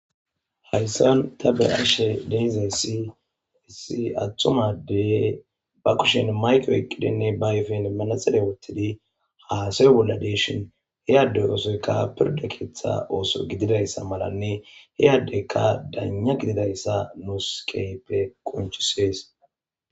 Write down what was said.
hayssan ta be ashe deizay siisi attumadey ba kushen mayqo eqqidinne ba yefen manasede wottidi haasawy bolla deeshin heyadde osoyka pirda keeththa ooso gididayssa malanne he yaddeyka daanya gididayssa nuus keyppe qonchisees